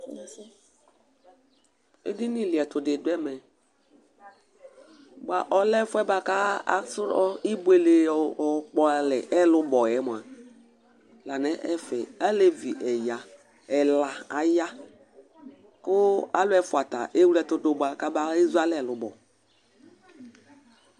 eɗɩnɩ ɔlɩɛtʊɗɩ ɔɗʊ ɛmɛ mɛ ɔlɛ ɛƒʊsʊ aƙpalɛ oɓʊele, aleʋɩ ɛla aƴa mɛ alu ɛƒʊata ewle ɛtʊɗʊɓʊa mɛ akpalɛ ɓʊele ƙɔmaha aƴaʋa